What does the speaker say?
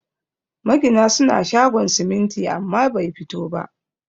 Magina suna shogon siminti amma bai fito ba